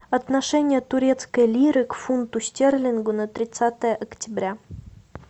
отношение турецкой лиры к фунту стерлингу на тридцатое октября